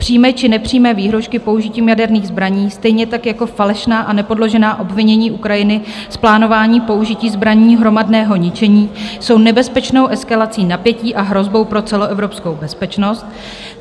Přímé či nepřímé výhrůžky použitím jaderných zbraní, stejně tak jako falešná a nepodložená obvinění Ukrajiny z plánování použití zbraní hromadného ničení jsou nebezpečnou eskalací napětí a hrozbou pro celoevropskou bezpečnost.